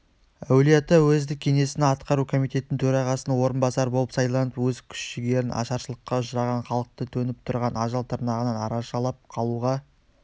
әулиеата уездік кеңесінің атқару комитеті төрағасының орынбасары болып сайланып өз күш-жігерін ашаршылыққа ұшыраған халықты төніп тұрған ажал тырнағынан арашалап қалуға